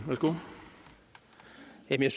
det er det